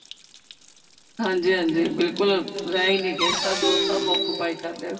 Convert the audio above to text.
ਹਾਂਜੀ ਹਾਂਜੀ ਬਿਲਕੁਲ ਰਹਿ ਹੀ ਨੀਂ ਗਏ ਸਭ ਸਭ occupy ਕਰ ਲਏ